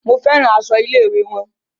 Mo fẹ́ràn aṣọ ilé-ìwé wọn.